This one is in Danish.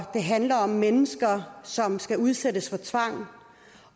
det handler om mennesker som skal udsættes for tvang